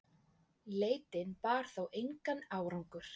Leitin bar þó engan árangur.